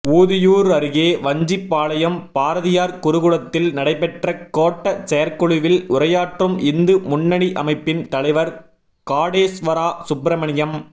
ஊதியூர் அருகே வஞ்சிபாளையம் பாரதியார் குருகுலத்தில் நடைபெற்ற கோட்ட செயற்குழுவில் உரையாற்றும் இந்து முன்னணி அமைப்பின் தலைவர் காடேஸ்வரா சுப்பிரமணியம்